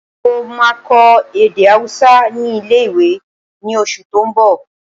Mo máa kọ́ èdè ahúsá ní ilé-ìwé ní oṣù tó n bọ̀